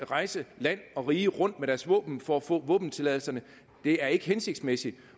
rejse land og rige rundt med deres våben for at få våbentilladelse det er ikke hensigtsmæssigt